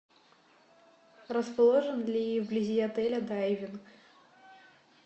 расположен ли вблизи отеля дайвинг